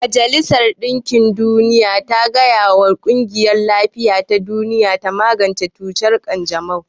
Majalisar dinkin duniya ta gaya wa ƙungiyar lafiya ta duniya ta magance cutar ƙanjamau